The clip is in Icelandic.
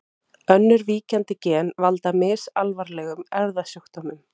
Önnur víkjandi gen valda misalvarlegum erfðasjúkdómum.